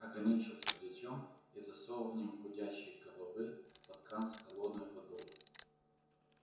ограничился бритьём и засовыванием гудящей головы под кран с холодной водой